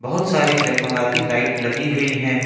बहुत सारी जगमगाती लाइट लगी हुई है।